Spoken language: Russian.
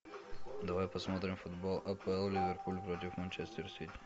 давай посмотрим футбол апл ливерпуль против манчестер сити